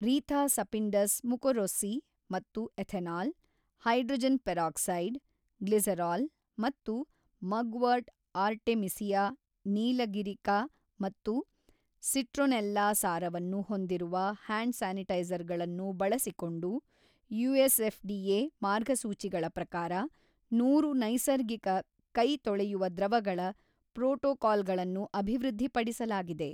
ರೀಥಾ Sapindus mukorossi ಮತ್ತು ethanol, hydrogen peroxide, glycerol, ಮತ್ತು mugwort Artemisia ನೀಲಗಿರಿಕಾ ಮತ್ತು ಸಿಟ್ರೊನೆಲ್ಲಾ ಸಾರವನ್ನು ಹೊಂದಿರುವ ಹ್ಯಾಂಡ್ ಸ್ಯಾನಿಟೈಜರ್ಗಳನ್ನು ಬಳಸಿಕೊಂಡು ಯುಎಸ್ಎಫ್ಡಿಎ ಮಾರ್ಗಸೂಚಿಗಳ ಪ್ರಕಾರ ಸಾವಿರ ನೈಸರ್ಗಿಕ ಕೈ ತೊಳೆಯುವ ದ್ರವಗಳ ಪ್ರೋಟೋಕಾಲ್ಗಳನ್ನು ಅಭಿವೃದ್ಧಿಪಡಿಸಲಾಗಿದೆ.